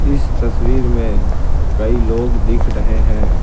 इस तस्वीर में कई लोग दिख रहे हैं।